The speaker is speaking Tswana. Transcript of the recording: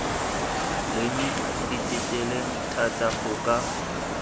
leng ditelele thata go ka